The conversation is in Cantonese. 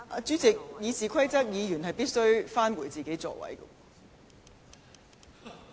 主席，根據《議事規則》，議員必須返回座位。